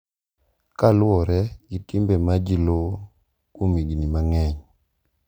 Kaluwore gi timbe ma ji luwo kuom higni mang’eny,